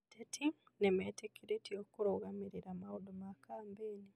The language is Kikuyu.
Ateti nĩ metĩkĩrĩtwo kurũgamirera maũndũ ma kambĩĩni.